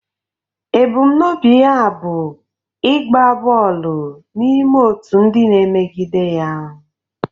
Ebumnobi ya bụ ịgba bọọlụ n'ime otu ndị na-emegide ya.